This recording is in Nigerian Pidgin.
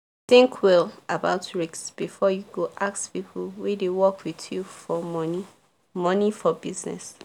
think well about risk before you go ask people wey dey work with you for money money for business